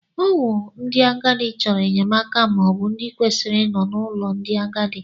Ọ wụ ndị agadi chọrọ enyemaka bụ ndị kwesịrị ị nọ n'ulo ndị agadi.